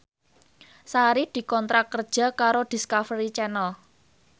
Sari dikontrak kerja karo Discovery Channel